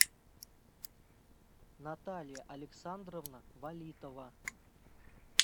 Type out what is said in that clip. наталья александровна валитова